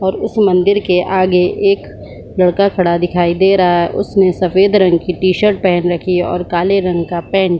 और उस मंदिर के आगे एक लड़का खड़ा दिखाई दे रहा है उसने सफ़ेद रंग की टी-शर्ट पहन रखी है और काले रंग का पैंट --